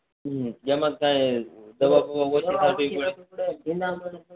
હમ જેમાં કઇ